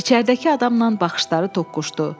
İçəridəki adamla baxışları toqquşdu.